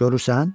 Görürsən?